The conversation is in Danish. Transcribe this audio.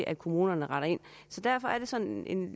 at kommunerne retter ind så derfor er det sådan